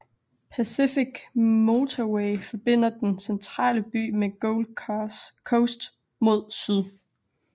Pacific Motorway forbinder den centrale by med Gold Coast mod syd